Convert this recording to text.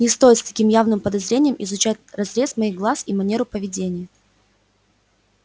не стоит с таким явным подозрением изучать разрез моих глаз и манеру поведения